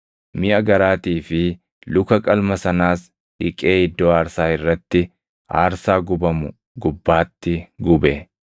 Miʼa garaatii fi luka qalma sanaas dhiqee iddoo aarsaa irratti, aarsaa gubamu gubbaatti gube.